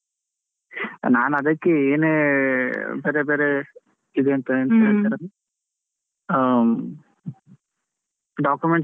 ನಾನು ಅದಕ್ಕೆ ಏನೇ ಬೇರೆ ಬೇರೆ ಇದ್ ಎಂತ ಎಂತ ಹೇಳ್ತಾರೆ ಅದು documents ಎಲ್ಲಾ.